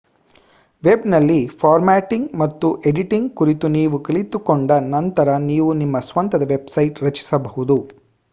ವೆಬ್‌ನಲ್ಲಿ formatting ಮತ್ತು editing ಕುರಿತು ನೀವು ಕಲಿತುಕೊಂಡ ನಂತರ ನೀವು ನಿಮ್ಮ ಸ್ವಂತದ ವೆಬ್‌ಸೈಟ್ ರಚಿಸಬಹುದು